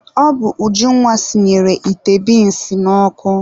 Ọ bụ Ujunwa sinyere ite binsi n'ọkụ.